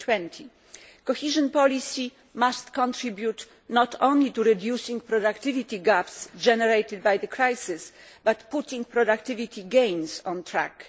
2020. Cohesion policy must contribute not only to reducing productivity gaps generated by the crisis, but also to putting productivity gains on track.